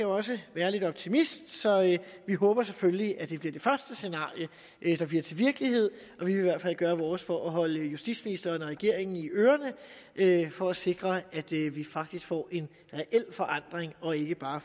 også være lidt optimist så vi håber selvfølgelig at det bliver det første scenarie der bliver til virkelighed vil i hvert fald gøre vores for at holde justitsministeren og regeringen i ørerne for at sikre at vi vi faktisk får en reel forandring og ikke bare